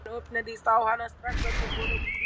Þegar hann opnaði sá hann strax að þeim var brugðið.